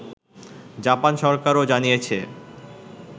Japan সরকারও জানিয়েছে